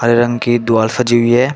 हरे रंग की दीवाल सजी हुई है।